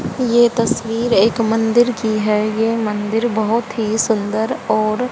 ये तस्वीर एक मंदिर की है ये मंदिर बहुत ही सुंदर और --